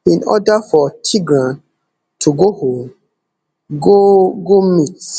in order for tigran to go home go go meet